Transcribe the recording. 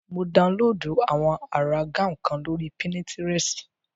Mo daunlóòdù àwọn àrà gáùn kan lórí pínitirẹ̀sì